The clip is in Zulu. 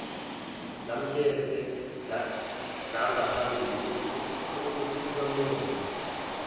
lemakethe langaphambilini othikamezwe